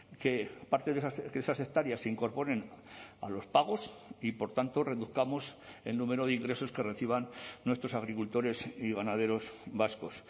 que parte de esas hectáreas se incorporen a los pagos y por tanto reduzcamos el número de ingresos que reciban nuestros agricultores y ganaderos vascos